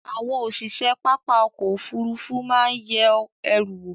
àwọn osise papá ọ̀kọ̀ ofúrúfú maa ye eru wo